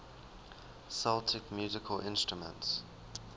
celtic musical instruments